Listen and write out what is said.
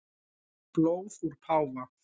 Blóð úr páfa